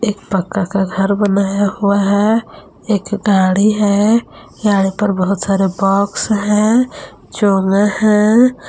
एक पक्का का घर बनाया हुआ है एक गाड़ी है गाड़ी पर बहुत सारे बॉक्स हैं चोंगा हैं।